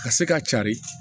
Ka se k'a cari